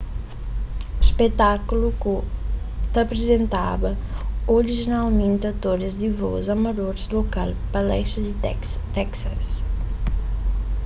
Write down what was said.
spetákulu ta aprizentaba orijinalmenti atoris di vos amadoris lokal pa lesti di texas